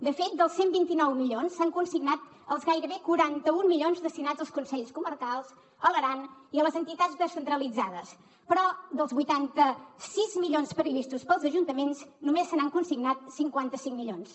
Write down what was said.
de fet dels cent i vint nou milions s’han consignat els gairebé quaranta un milions destinats als consells comarcals a l’aran i a les entitats descentralitzades però dels vuitanta sis milions previstos per als ajuntaments només se n’han consignat cinquanta cinc milions